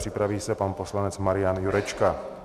Připraví se pan poslanec Marian Jurečka.